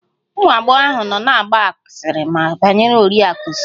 Ụmụ agbọghọ ahụ nọ na-agba asịrị banyere Oriakụ Smith